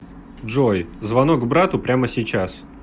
джой звонок брату прямо сейчас